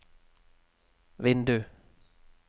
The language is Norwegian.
vindu